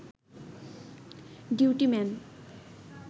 duty man